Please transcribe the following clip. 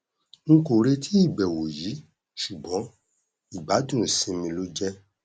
n kò retí ìbẹwò yìí ṣùgbọn ìgbádùn ìsinmi ló jẹ